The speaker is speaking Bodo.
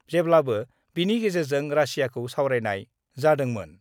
जेब्लाबो बिनि गेजेरजों रासियाखौ सावरायनाय जादोंमोन।